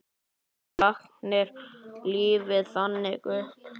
Þú lagðir lífið þannig upp.